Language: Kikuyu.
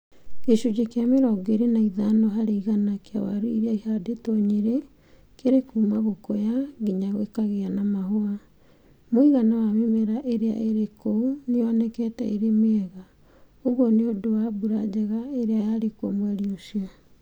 Gĩcunjĩ kĩa mĩrongo ĩrĩ na ĩtano harĩ igana kĩa waru iria ihandĩtwo Nyeri Kĩrĩ kuuma gũkũya nginya gikagĩa na mahũa. Mũigana wa mĩmera ĩria ĩrĩ kũu nĩ yonekete ĩrĩ mĩiega. Ũguo nĩ ũndũ wa mbura njega ĩrĩa yarĩkuo mweri ũcio.